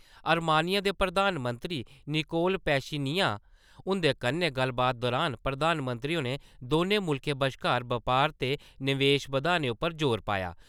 आर्मीनियां दे प्रधानमंत्री Nikol Pashinyan हुन्दे कन्नै गल्लबात दौरान प्रधानमंत्री होरें दौनें मुल्खें बश्कार बपार ते निवेश बधाने उप्पर जोर पाया ।